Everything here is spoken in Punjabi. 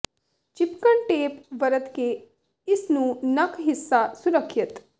ਿਚਪਕਣ ਟੇਪ ਵਰਤ ਕੇ ਇਸ ਨੂੰ ਨੱਕ ਹਿੱਸਾ ਸੁਰੱਖਿਅਤ